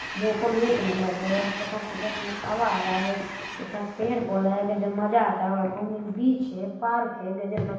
मौसम एक नंबर है यहाँ कितना ठंडा-ठंडा हवा आ रहा है कितना पेड़-पौधा है कितना मजा आता होगा घूम बीच है पार्क है गजब मजा--